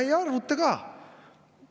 Ei arvuta ka.